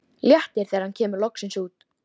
Léttir þegar hann kemur loksins út.